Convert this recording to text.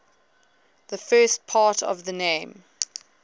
the first part of the name